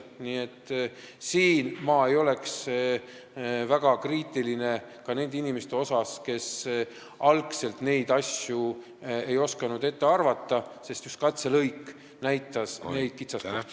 Nii et ma ei oleks väga kriitiline nende inimeste suhtes, kes algul ei osanud neid asju ette näha, sest just katselõigud näitasid need kitsaskohad kätte.